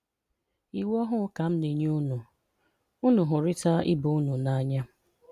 Íwú ọ̀hụ̀ ka m̀nényè únù: Ùnù hụ́ríta íbè-únù n'ǎnyá.